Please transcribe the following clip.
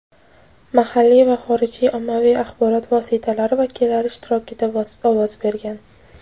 mahalliy va xorijiy ommaviy axborot vositalari vakillari ishtirokida ovoz bergan.